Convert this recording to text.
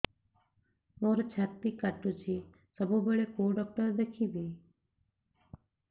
ମୋର ଛାତି କଟୁଛି ସବୁବେଳେ କୋଉ ଡକ୍ଟର ଦେଖେବି